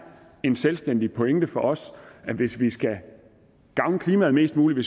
en selvstændig pointe for os at hvis man skal gavne klimaet mest muligt og